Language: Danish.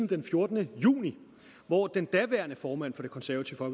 den fjortende juni hvor den daværende formand for det konservative